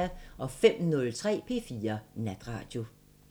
05:03: P4 Natradio